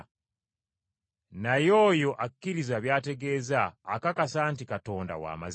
Naye oyo akkiriza by’ategeeza akakasa nti Katonda wa mazima.